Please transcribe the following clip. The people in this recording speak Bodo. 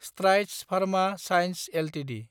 Strides Pharma Science Ltd